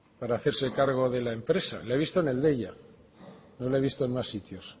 para hacerse cargo de la empresa la he visto en el deia no la he visto en más sitios